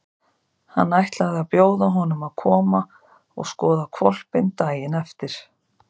Hann ætlaði að bjóða honum að koma og skoða hvolpinn daginn eftir.